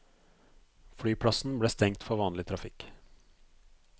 Flyplassen ble stengt for vanlig trafikk.